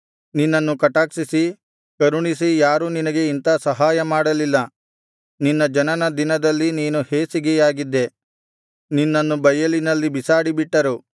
ನಿನ್ನನ್ನು ಕಟಾಕ್ಷಿಸಿ ಕರುಣಿಸಿ ಯಾರೂ ನಿನಗೆ ಇಂಥಾ ಸಹಾಯ ಮಾಡಲಿಲ್ಲ ನಿನ್ನ ಜನನ ದಿನದಲ್ಲಿ ನೀನು ಹೇಸಿಗೆಯಾಗಿದ್ದೆ ನಿನ್ನನ್ನು ಬಯಲಿನಲ್ಲಿ ಬಿಸಾಡಿ ಬಿಟ್ಟರು